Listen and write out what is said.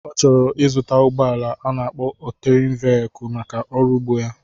Ọ chọrọ ịzụta ụgbọala a na-akpo ọtérén véyikul maka ọrụ ugbo ya